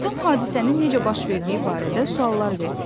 Atam hadisənin necə baş verdiyi barədə suallar verdi.